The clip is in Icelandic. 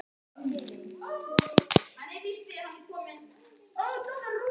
Hún færði klaustrinu að gjöf þúsund dúkata og tvær miklar jarðeignir í Grikklandi.